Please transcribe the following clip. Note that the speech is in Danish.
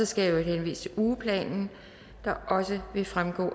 skal henvise til ugeplanen der også vil fremgå der